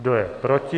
Kdo je proti?